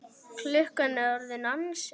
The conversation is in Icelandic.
Klukkan er orðin ansi margt.